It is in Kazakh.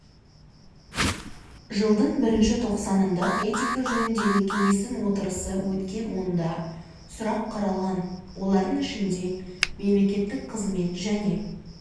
жылдың бірінші тоқсанында этика жөніндегі кеңестің отырысы өткен онда сұрақ қаралған олардың ішінде мемлекеттік қызмет және